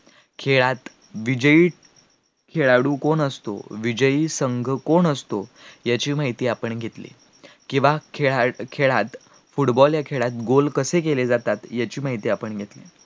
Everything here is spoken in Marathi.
खेळात विजयी, खेळाळू कोण असतो, विजयी संघ कोण असतो याची माहिती आपण घेऊ, किंवा खेळात football या खेळात गोल कसे केले जातात याची माहिती आपण घेऊ